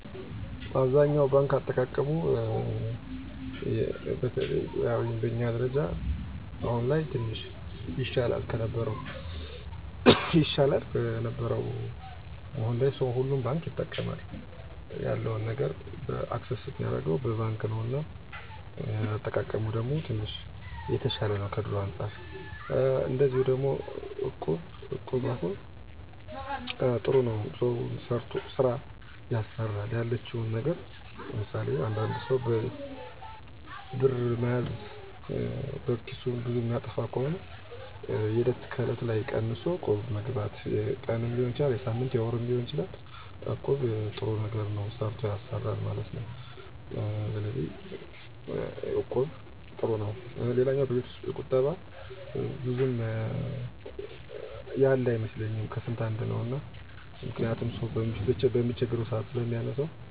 1. ባንክ (Bank) - በጣም የተለመደው እና የሚጠበቀው መንገድ። የቁጠባ እና የአሰራ ሂሳቦችን ያቀፈ። 2. እቁብ (Equb) - የባህላዊ የቁጠባ ቡድን። አባላት በወር አበው ገንዘብ በመጠራት በማክሰሞ ይካፈላሉ። 3. ሆላ (Holla) - እንደ እቁብ ተመሳሳይ ነው፣ ነገር ግን በተወሰነ አካባቢ የሚታወቅ። 4. ቤት ውስጥ ቁጠባ (Saving at Home) - በቤት ውስጥ በደህንነት ሆኖ ገንዘብ ማስቀመጥ። ሆኖ እሳት፣ ስርቆት ወይም ያለፈበት አደጋ አለው። ማጠቃለያ ብዙ ሰዎች የሚጠቀሙት በባንክ እና በእቁብ/ሆላ ነው። ባንኩ የበለጠ ደህንነት አለው፣ እቁቡ/ሆላው ደግሞ በቡድን ውስጥ ያለ የገንዘብ ተጠያቂነት እና ቀላልነት ያቀፈ ነው።